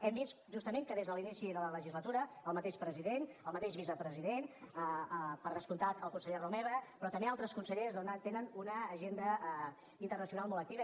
hem vist justament que des de l’inici de la legislatura el mateix president el mateix vicepresident per descomptat el conseller romeva però també altres consellers doncs tenen una agenda internacional molt activa